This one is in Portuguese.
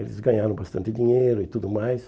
Eles ganharam bastante dinheiro e tudo mais.